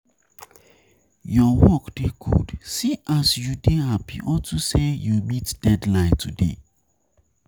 Your work dey good, see as you dey happy unto say you meet deadline today.